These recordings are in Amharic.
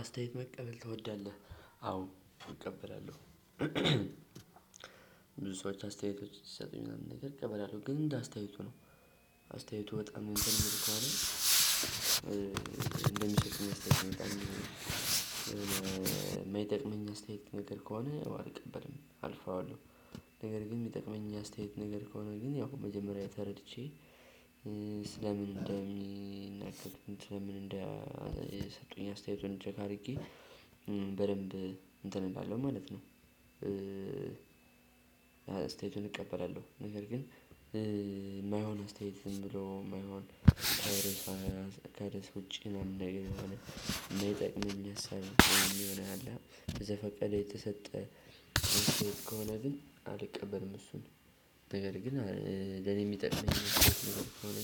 አስተያየት መቀበል ትወዳለህ? አዎ እቀበላለሁ። ብዙ ሰዎች አስተያየቶች ሲሰጡኝ ምናምን ነገር እቀበላለሁ ግን እንደ አስተያየቱ ነው አስተያየቱ በጣም እንትል ሚል ከሆነ። እንደሚሰጡኝ አስተያየት መቀበል ነው። የሚጠቅመኝ አስተያየት ነገር ከሆነ አልቀበልም አልፈዋለሁ። ነገር ግን የሚጠቅመኝ አስተያየት ነገር ከሆነ ግን ያው መጀመሪያ ተረድቼ። ስለምን እንደሚናገር ስለምን እንደሰጡኝ አስተያየቱን ቼክ አድርጌ በደንብ እንትን እላለው ማለት ነው። አስተያየቱን እቀበላለሁ ነገር ግን የማይሆን አስተያየት ዝም ብሎ የማይሆን። ከደስ ውጪ ነው የሚሆነው። የሚጠቅመኝ ሀሳብ የሚሆነው ያለ በዘፈቀደ የተሰጠ ውሸት ከሆነ ግን አልቀበልም እሱን። ነገር ግን ለኔ የሚጠቅመኝ ውሸት ከሆነ።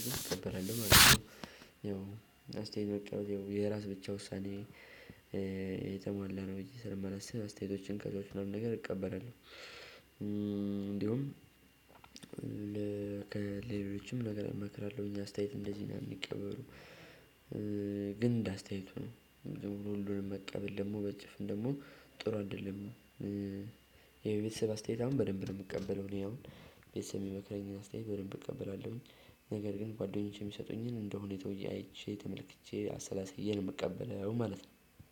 አስተያየት መቀበል የራስ ብቻ ውሳኔ የተሟላ ነው እዚህ ስር የማላስብ አስተያየቶችን ከሌሎች ምናምን ነገር እቀበላለሁ። እንዲሁም። ለሌሎችም ነገር አይመክርም እኛ አስተያየት እንደዚህ ነው የሚቀበሉ። ግን እንደ አስተያየቱ ነው። ዝም ብሎ ሁሉንም መቀበል ደግሞ በጭፍን ደግሞ ጥሩ አይደለም። የቤተሰብ አስተያየት አሁን በደንብ ነው የምቀበለው እኔ አሁን ቤተሰብ የሚመክረኝን አስተያየት በደንብ እቀበላለሁኝ። ነገር ግን ጓደኞቼ የሚሰጡኝን እንደሆነ ተወያይቼ ተመልክቼ አሰላሳዬን የምቀበለው ማለት ነው።